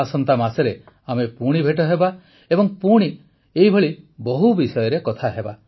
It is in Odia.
ଆସନ୍ତା ମାସରେ ଆମେ ପୁଣି ଭେଟ ହେବା ଏବଂ ପୁଣି ଏପରି ବହୁ ବିଷୟରେ କଥା ହେବା